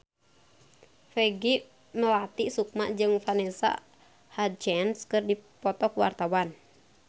Peggy Melati Sukma jeung Vanessa Hudgens keur dipoto ku wartawan